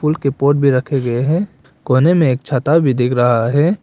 फूल के पोट भी रखे गए हैं कोने में एक छाता भी दिख रहा है।